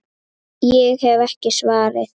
Ég hef ekki svarið.